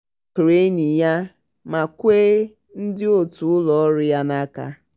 ọ makụrụ enyi ya ma kwe ndị otu ụlọọrụ ya n'aka.